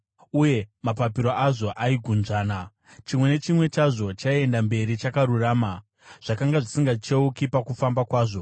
uye mapapiro azvo aigunzvana. Chimwe nechimwe chazvo chaienda mberi chakarurama; zvakanga zvisingacheuki pakufamba kwazvo.